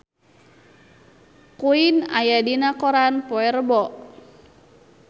Queen aya dina koran poe Rebo